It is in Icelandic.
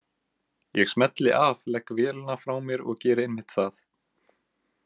Ég smelli af, legg vélina frá mér og geri einmitt það.